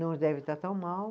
Não deve estar tão mal.